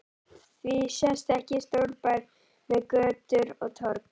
Því sést ekki stórbær með götur og torg?